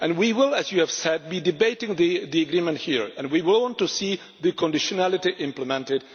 We will, as you have said, be debating the agreement here. We want to see the conditionality implemented.